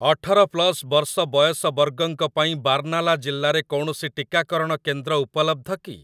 ଅଠର ପ୍ଲସ୍ ବର୍ଷ ବୟସ ବର୍ଗଙ୍କ ପାଇଁ ବାର୍ନାଲା ଜିଲ୍ଲାରେ କୌଣସି ଟିକାକରଣ କେନ୍ଦ୍ର ଉପଲବ୍ଧ କି?